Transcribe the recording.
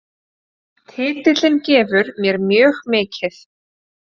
Titillinn gefur mér mjög mikið